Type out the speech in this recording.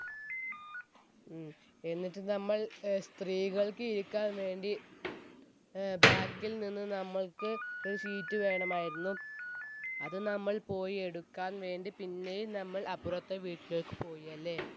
ഉം എന്നിട് നമ്മൾ സ്ത്രീകൾക്ക് ഇരിക്കാൻ വേണ്ടി ഏർ ബാക്കിൽ നിന്ന് നമ്മൾക്ക് ഒരു sheet വേണമായിരുന്നു അത് നമ്മൾ പോയി എടുക്കാൻ വേണ്ടി പിന്നെയും നമ്മൾ അപ്പുറത്തെ വീട്ടിലേക്ക് പോയിയല്ലേ